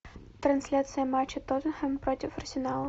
трансляция матча тоттенхэм против арсенала